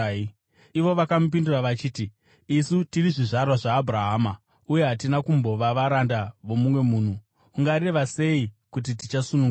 Ivo vakamupindura vachiti, “Isu tiri zvizvarwa zvaAbhurahama uye hatina kumbova varanda vomumwe munhu. Ungareva sei kuti tichasunungurwa?”